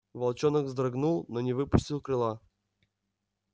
волчонок вздрогнул но не выпустил крыла